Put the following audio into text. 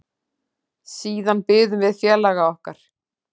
Siðan biðum við félaga okkar.